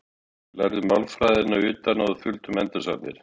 Við lærðum málfræðina utan að og þuldum endursagnir.